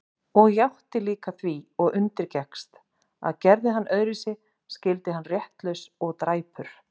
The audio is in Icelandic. Og játti líka því og undirgekkst, að gerði hann öðruvísi skyldi hann réttlaus og dræpur.